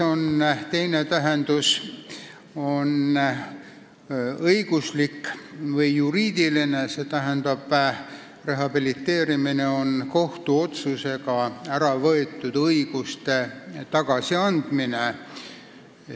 Teine tähendus on õiguslik ehk juriidiline: rehabiliteerimine on kohtuotsusega ära võetud õiguste tagasiandmine.